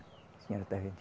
A senhora está vendo?